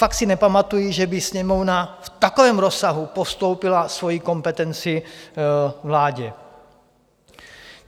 Fakt si nepamatuji, že by Sněmovna v takovém rozsahu postoupila svoji kompetenci vládě.